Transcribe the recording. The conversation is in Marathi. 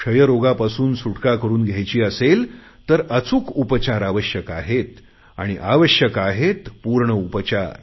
क्षयरोगापासून सुटका करुन घ्यायची असेल तर अचूक उपचार आवश्यक आहेत आणि आवश्यक आहेत पूर्ण उपचार